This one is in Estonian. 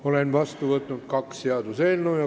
Olen vastu võtnud kaks seaduseelnõu.